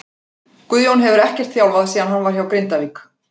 Guðjón hefur ekkert þjálfað síðan hann var hjá Grindavík.